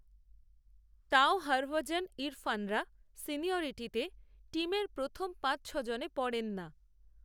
তাও, হরভজন, ইরফানরা, সিনিয়রিটিতে, টিমের প্রথম পাচঁছজনে পড়েন না